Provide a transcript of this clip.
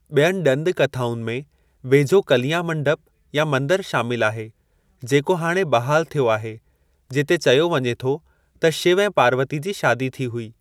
बि॒यनि ॾंद कथाउनि में वेझो कलियां मंडप या मंदरु शामिलु आहे, जेको हाणे बहाल थियो आहे, जिते चयो वञे थो त शिव ऐं पार्वती जी शादी थी हुई।